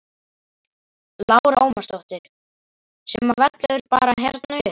Lára Ómarsdóttir: Sem að vellur bara hérna upp?